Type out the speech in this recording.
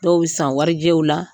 Dɔw san warijɛw la,